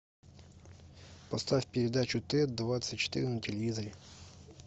поставь передачу т двадцать четыре на телевизоре